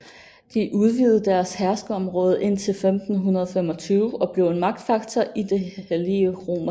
De udvidede deres herskerområde indtil 1525 og blev en magtfaktor i det hellige romerske rige